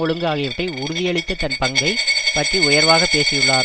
ஒழுங்கு ஆகியவற்றை உறுதியளித்த தன் பங்கை பற்றி உயர்வாகப் பேசியுள்ளார்